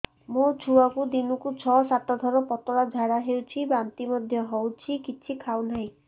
ମୋ ଛୁଆକୁ ଦିନକୁ ଛ ସାତ ଥର ପତଳା ଝାଡ଼ା ହେଉଛି ବାନ୍ତି ମଧ୍ୟ ହେଉଛି କିଛି ଖାଉ ନାହିଁ